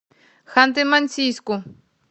ханты мансийску